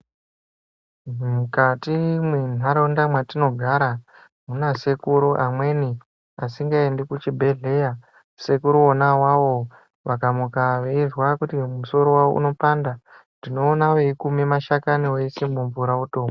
Mukati mwentaraunda mwetinogara munasekuru amweni asingaendi kuchibhedhlera. Sekuru vona avavo veizwa kuti musoro wavo unopanda, unoone veikume mashakani, voise mumvura votomwa.